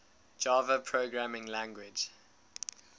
java programming language